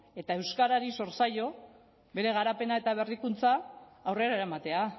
eta euskarari sor zaio bere garapena eta berrikuntza aurrera eramatea